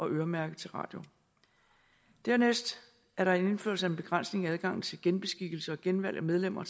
øremærket til radio dernæst er der en indførelse af en begrænsning af adgangen til genbeskikkelse og genvalg af medlemmer